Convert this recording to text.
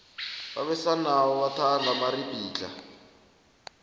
abesana bathanda amaribhidlhla